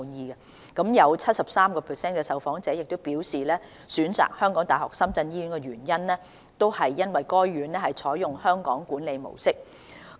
有 73% 的受訪長者表示，選擇港大深圳醫院的原因，是該院採用"香港管理模式"。